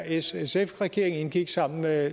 srsf regeringen indgik sammen med